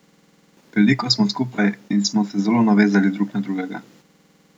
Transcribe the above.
Veliko smo skupaj in smo se zelo navezali drug na drugega.